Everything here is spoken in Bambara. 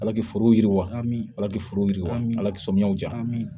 Ala k'i forow yiriwa ala k'i foro yiriwa an bɛ ala k'o samiyɛw di yan